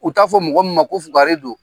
U t'a fɔ mɔgɔ min ma ko fugari don.